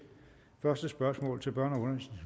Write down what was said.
første spørgsmål til børne